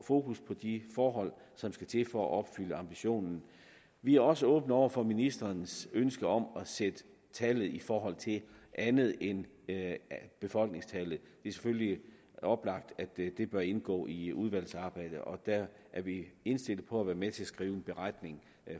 fokus på de forhold som skal til for at opfylde ambitionen vi er også åbne over for ministerens ønske om sætte tallet i forhold til andet end befolkningstallet det er selvfølgelig oplagt at det bør indgå i udvalgsarbejdet og der er vi indstillet på at være med til at skrive en beretning